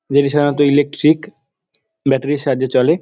যেটি সাধারনত ইলেকট্রিক ব্যাটারির -এর সাহায্যে চলে।